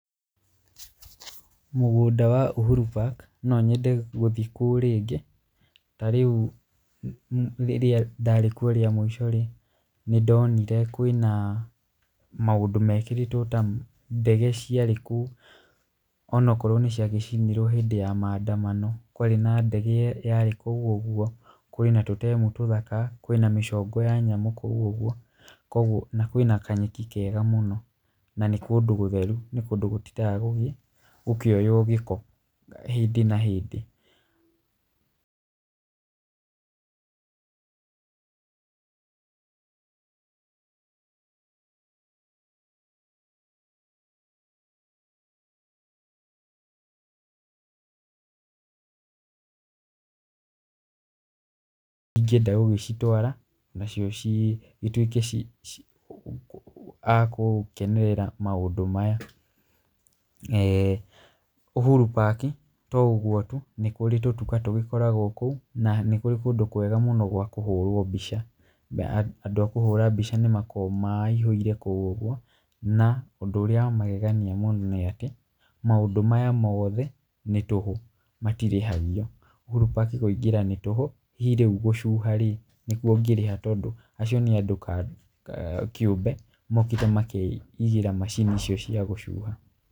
Mũgũnda wa Uhuru Park no nyende gũthiĩ kuo rĩngĩ. Ta rĩu rĩrĩa ndarĩ kuo rĩa mũico rĩ, nĩ ndonire kwĩna maũndũ mekĩrĩtwo ta ndege ciarĩ kũu, ona okorwo nĩ ciagĩcinirwo hĩndĩ ya maandamano. Kwarĩ na ndege yarĩ kũu ũguo. Kũrĩ na tũtemu tũthaka, kwĩna mĩcongo ya nyamũ kũu ũguo, kwoguo na kwĩna kanyeki kega mũno na nĩ kũndũ gũtheru nĩ kũndũ gukĩoywo gĩko hĩndĩ na hĩndĩ. ingĩenda gũgĩcitwara nacio cigĩtuĩke agũkenerera maũndũ maya. Uhuru Park to ũguo tu nĩ kũrĩ tũtuka tũkoragwo kũu na nĩ kũrĩ kũndũ kwega mũno gwa kũhũrwo mbica. Andũ a kũhũra mbica nĩ makoragwo maihũire kũu ũguo. Na ũndũ ũrĩa wa magegania mũno nĩ atĩ, maũndũ maya mothe nĩ tũhũ matirĩhagio. Uhuru Park kũingĩra nĩ tũhũ, hihi rĩu gũcuha rĩ nĩkuo ũngĩrĩha, tondũ acio nĩ andũ kĩũmbe mokĩte makeigĩra macini icio cia gũcuha.